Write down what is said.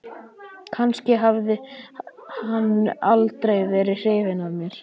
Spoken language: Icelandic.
Kannski hafði hann aldrei verið hrifinn af mér.